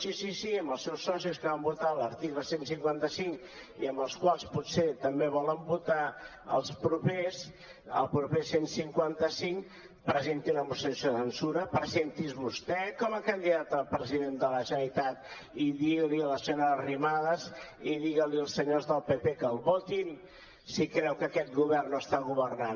sí sí sí amb els seus socis que van votar l’article cent i cinquanta cinc i amb els quals potser també volen votar el proper cent i cinquanta cinc presentin una moció de censura presenti’s vostè com a candidat a president de la generalitat i digui li a la senyora arrimadas i digui als senyors del pp que el votin si creu que aquest govern no està governant